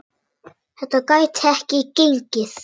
Þetta gæti ekki gengið.